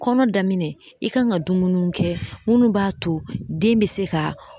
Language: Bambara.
Kɔnɔ daminɛ i ka kan ka dumunuw kɛ munnu b'a to den be se ka